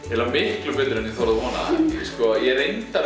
eiginlega miklu betur en ég þorði að vona sko ég